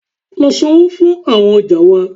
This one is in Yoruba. Lọ sańwo fún awọn ọja wa!